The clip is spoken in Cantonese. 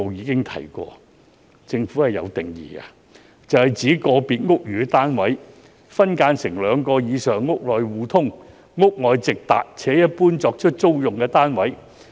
根據當時政府的定義，"劏房"是指個別屋宇單位分間成兩個以上"屋內互通"、"屋外直達"且一般作出租用的單位。